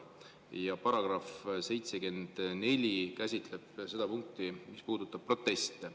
Ja § 74 käsitleb seda punkti, mis puudutab proteste.